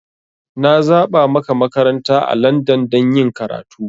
Na zaba maka makaranta a Landan don yin karatu.